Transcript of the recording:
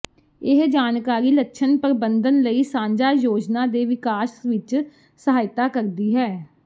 ਇਹ ਜਾਣਕਾਰੀ ਲੱਛਣ ਪ੍ਰਬੰਧਨ ਲਈ ਸਾਂਝਾ ਯੋਜਨਾ ਦੇ ਵਿਕਾਸ ਵਿਚ ਸਹਾਇਤਾ ਕਰ ਸਕਦੀ ਹੈ